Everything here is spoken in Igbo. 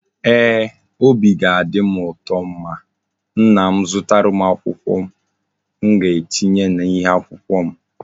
Eeh, Obi ga-adim uto ma nna m zụtara m akwụkwọ m ga etinye na ihe akwụkwọ m